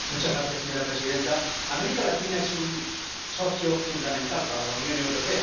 Señora presidenta, América Latina es un socio fundamental para la Unión Europea.